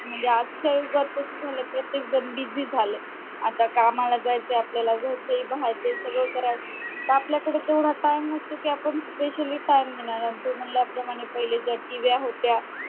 म्हणजे आजच्या युगात असं झालय प्रत्येक जण busy झालय आता कामाला जाईल ते आपल्याला घरच बाहेरचंही सगळं करायचंय तर आपल्याकडे तेवढा time नसतो कि आपण specially time देणार आहोत तू म्हणल्याप्रमाणे पहिले ज्या TV व्या होत्या